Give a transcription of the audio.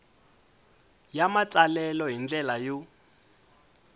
ya matsalelo hi ndlela yo